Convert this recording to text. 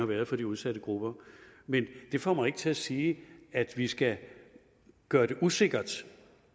været for de udsatte grupper men det får mig ikke til at sige at vi skal gøre det usikkert